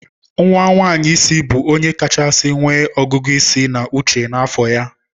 Nwa nwanyị isi bụ onye kachasị nwee ọgụgụ isi na uche n'afọ ya.